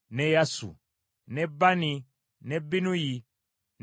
ne Bani, ne Binnuyi, ne Simeeyi,